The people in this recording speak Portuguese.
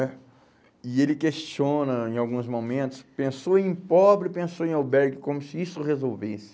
né? E ele questiona, em alguns momentos, pensou em pobre, pensou em albergue, como se isso resolvesse.